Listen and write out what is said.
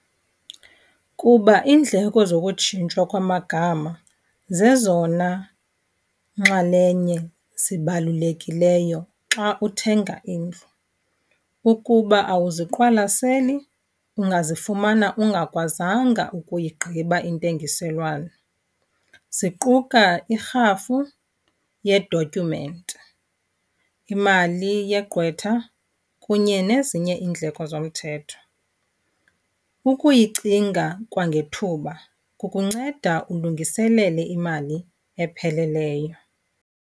Kuba iindleko zokutshintshwa kwamagama zezona nxalenye zibalulekileyo xa uthenga indlu. Ukuba awuziqwalaseli ungazifumana ungakwazanga ukuyigqiba intengiselwano. Ziquka irhafu ye-document, imali yeqqwetha kunye nezinye iindleko zomthetho. Ukuyicinga kwangethuba kukunceda ulungiselele imali epheleleyo.